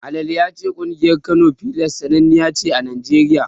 Ahlan ya ce ƙungiyar Kano Pillars sananniya ce a Najeriya.